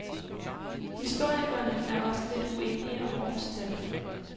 Historikerne er også lidt uenige om årstallet.